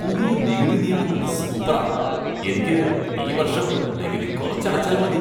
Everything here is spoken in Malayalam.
പുതിയ നികുതി നിയമങ്ങൾ സൂപ്പറാ! എനിക്ക് ഈ വർഷം നികുതി കുറച്ചടച്ചാൽ മതി !